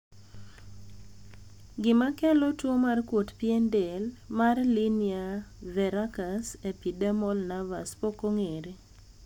gima kelo tuo mar kuot pien del mar linear verrucous epidermal nevus pok ong'ere